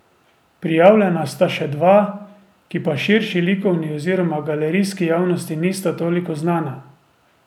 Prijavljena sta še dva, ki pa širši likovni oziroma galerijski javnosti nista toliko znana.